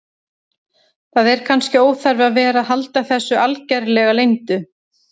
Það er kannski óþarfi að vera að halda þessu algerlega leyndu.